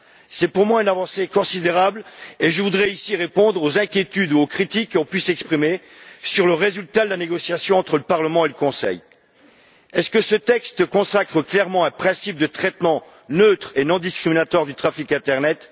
C'est pour moi une avancée considérable, et je voudrais ici répondre aux inquiétudes et aux critiques qui ont pu s'exprimer sur le résultat de la négociation entre le Parlement et le Conseil. Est ce que ce texte consacre clairement un principe de traitement neutre et non discriminatoire du trafic internet?